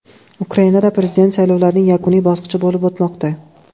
Ukrainada prezident saylovlarining yakuniy bosqichi bo‘lib o‘tmoqda.